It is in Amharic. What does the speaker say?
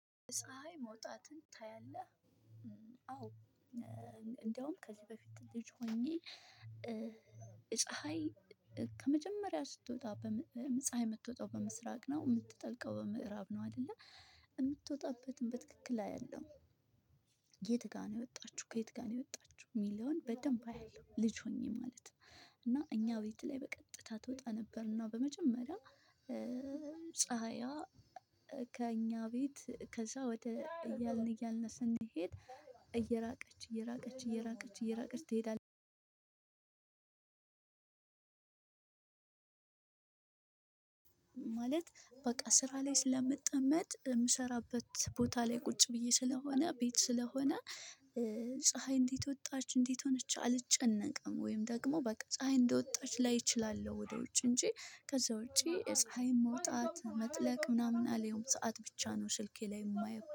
ፀሀይ መውጣትን ታያለህ? አዎ። እንደውም ከዚህ በፊት ልጅ ሆኜ። ፀሀይ ከመጀመሪያ ስትወጣ ፀሀይ የምትወጣው በምስራቅ ነው የምትጠልቀው በምዕራብ ነው አይደለ የምትወጣበትን በትክክል ላይ አያለው። የት ጋ ነው የወጣችው ከየት ጋ ነው? የወጣችሁ እሚለውን በደንብ አያለሁ ልጅ ሆኜ ማለት ነው። እና እኛ ቤት ላይ በቀጥታ ትወጣ ነበርና እና በመጀመሪያ ፀሀያ ከእኛ ቤት ከዛ ወደ እያልን እያልን ስንሄድ እየራቀች እየራቀች እየራቀች እየራቀች እየራቀች ትሄዳ። ማለት በቃ ስራ ላይ ስለምጠመጥ እምሰራበት ቦታ ላይ ቁጭ ብዬ ስለሆነ ቤት ስለሆነ። ፀሀይ እንዴት ወጣች እንዴት ሆነች አልጨነቅም። ወይም ደግሞ በቃ ፀሀይ እንደወጣች ላይ እችላለሁ። ወደ ውጭ እንጂ ከዛ ወጪ የፀሀይ መውጣት መጥለቅ ምናምን አላየው ሰዓት ብቻ ነው። ስልኬ ላይ የማየው